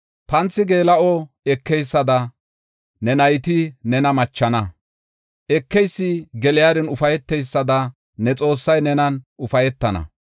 Panthi geela7o ekeysada, ne nayti nena machana. Ekeysi geliyarin ufayteysada, ne Xoossay nenan ufaytana.